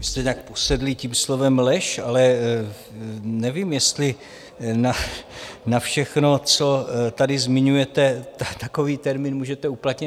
Vy jste nějak posedlí tím slovem lež, ale nevím, jestli na všechno, co tady zmiňujete, takový termín můžete uplatnit.